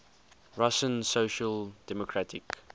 russian social democratic